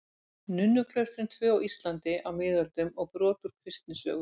Nunnuklaustrin tvö á Íslandi á miðöldum og brot úr kristnisögu.